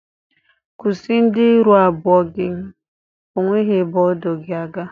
Kwusi ndu ịrụ abụọ gi! O nweghị ebe o du gị aga!